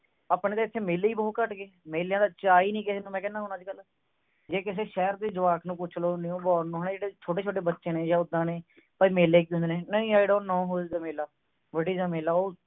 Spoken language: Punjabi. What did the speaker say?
ਆਪਣੇ ਤੇ ਇਥੇ ਮੇਲਾ ਹੀ ਬਹੁਤ ਘੱਟ ਗਏ ਮੇਲਿਆਂ ਦਾ ਚਾਹ ਵੀ ਨਹੀਂ ਕਿਸੇ ਨੂੰ ਮੈਂ ਕਿਹਾ ਅੱਜ ਕੱਲ ਜੇ ਕਿਸੇ ਸ਼ਹਿਰ ਦੇ ਜਵਾਕ ਨੂੰ ਪੁੱਛ ਲਵੋ new born ਨੂੰ ਹੈਂ ਜੋੜੇ ਛੋਟੇ-ਛੋਟੇ ਬੱਚੇ ਨੇ ਜਾ ਉਹਦਾ ਨੇ ਬਈ ਮੇਲੇ ਕੀ ਹੁੰਦੇ ਨੇ ਨਹੀਂ I don't know who is the mela what is a mela